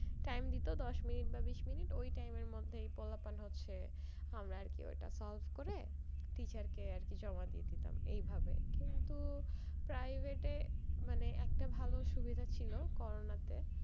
time দিত দশ minute বা বিশ minute ওই time এর মধ্যেই হচ্ছে আমরা আরকি ওটা solve করে teacher কে আরকি জমা দিয়ে দিতাম এইভাবে কিন্তু private এ মানে একটা ভালো সুবিধা ছিলো পড়ার ক্ষেত্রে,